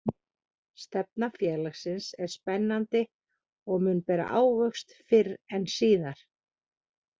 Stefna félagsins er spennandi og mun bera ávöxt fyrr en síðar.